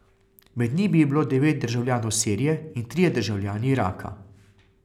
Med njimi je bilo devet državljanov Sirije in trije državljani Iraka.